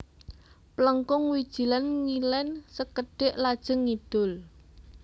Plengkung Wijilan ngilen sekedhik lajeng ngidul